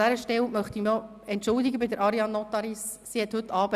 An dieser Stelle möchte ich mich bei Ariane Nottaris entschuldigen: